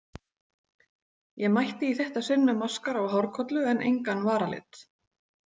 Ég mætti, í þetta sinn með maskara og hárkollu en engan varalit.